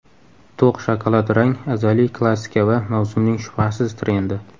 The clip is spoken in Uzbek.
To‘q shokolad rang azaliy klassika va mavsumning shubhasiz trendi.